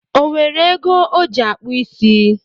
O were ego o jị akpụ isi?